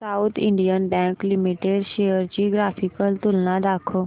south Indian bank limited shares ची graphical तुलना दाखव